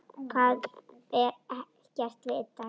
Það er ekkert vitað.